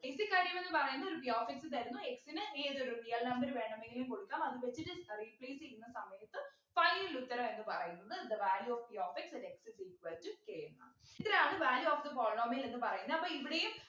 basic കാര്യങ്ങള്ന്നു പറയുന്ന ഒരു p of x തരുന്നു x ന് ഏതൊരു real number വേണമെങ്കിലും കൊടുക്കാം അത് വച്ചിട്ട് ഏർ replace ചെയ്യുന്ന സമയത്ത് final ഉത്തരം എന്ന് പറയുന്നത് the value of the p of x at x ix equal to k എന്നാണ് ഇതിനാണ് value of the polynomial എന്ന് പറയുന്നെ അപ്പൊ ഇവിടെയും